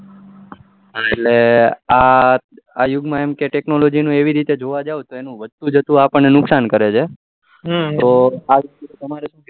હા એટલે આ યુગ માં technology નો એવી રીતે જોવા તો વધુ જતું આપણે નુકસાન કરે છે તમારું શુ કેવું છ